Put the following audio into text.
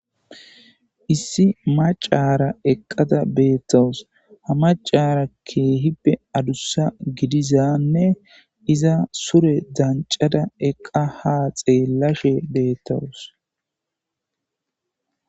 Issi maccaara eqqada beeththawus; ha maccaara keehippe adussa gidizanne iza sure danccaza eqqa haa xeellashe beeththawus.